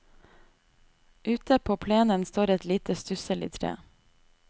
Ute på plenen står et lite, stusselig tre.